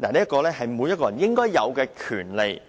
這是每個人應有的權利。